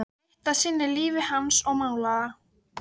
Við förum ekki að stofna til leiðinda út af þessu.